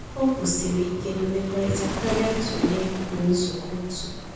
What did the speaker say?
O kwụsịrị ike na mmekọrịta karịa ntule na nzukọ otu